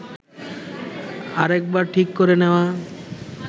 আরেকবার ঠিক করে নেওয়া